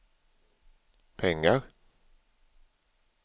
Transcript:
pengar